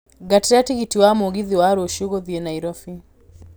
ngatĩra tigiti wa mũgithi wa rũcio gũthiĩ nairobi